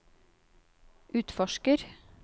utforsker